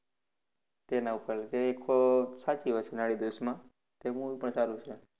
તેના ઉપર, તે ખૂબ સાચી વસ્તુ છે નાડીદોષમાં. તે movie પણ સારું છે